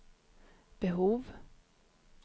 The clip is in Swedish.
behov